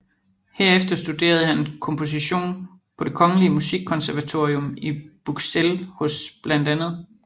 Herefter studerede han komposition på det Kongelige Musikkonservatorium i Buxelles hos bla